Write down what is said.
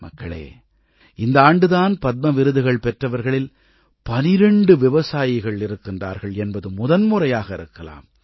மக்களே இந்த ஆண்டு தான் பத்ம விருதுகள் பெற்றவர்களில் 12 விவசாயிகள் இருக்கிறார்கள் என்பது முதன்முறையாக இருக்கலாம்